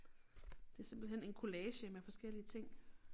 Det simpelthen en collage med forskellige ting